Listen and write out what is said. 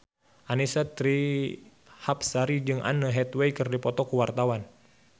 Annisa Trihapsari jeung Anne Hathaway keur dipoto ku wartawan